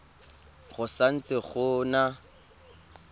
go sa ntse go na